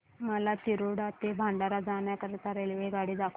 मला तिरोडा ते भंडारा जाण्या करीता रेल्वे दाखवा